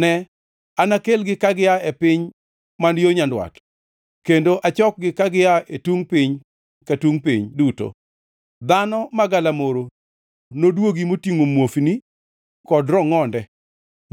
Ne, anakelgi ka gia e piny man yo nyandwat, kendo achokgi ka gia e tungʼ piny ka tungʼ piny duto. Dhano ma galamoro nodwogi motingʼo muofni kod rongʼonde,